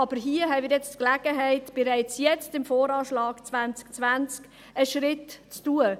Doch hier haben wir die Gelegenheit, bereits jetzt beim VA 2020 einen Schritt zu tun.